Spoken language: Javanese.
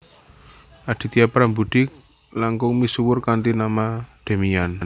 Aditya Prambudhi langkung misuwur kanthi nama Demian